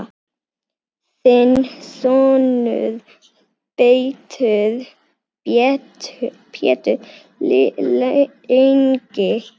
Þinn sonur Pétur Ingi.